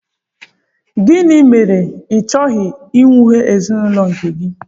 Gịnị mere i chọghị ihiwe ezinụlọ nke gị?